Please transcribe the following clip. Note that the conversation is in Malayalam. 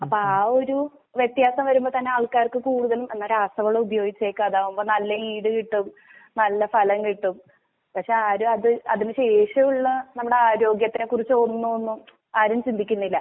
അപ്പ ആ ഒര് വെത്യാസം വരുമ്പോതന്നെ ആൾക്കാർക്കുകൂടുത്തലും എന്നരാസവളവുപയോഗയിച്ചേക്കാം അതാവുമ്പോ നല്ല ഈടുകിട്ടും നല്ല ഫലംകിട്ടും പക്ഷേ ആരും അത് അതിനുശേഷവുള്ള നമ്മുടാരോഗ്യത്തിനക്കുറിച്ചൊന്നുവോന്നും ആര്